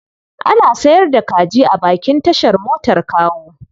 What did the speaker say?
Ana sayar da kaji a bakin tashar motar Kawo.